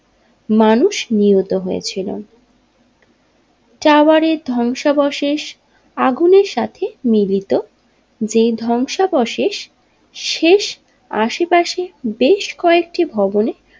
মানুষ নিহত হয়েছিল টাওয়ারের ধ্বংসাবশেষ আগুনের সাথে মিলিত যে ধ্বংসাবশেষ শেষ আশেপাশের বেশ কয়েকটি ভবনে।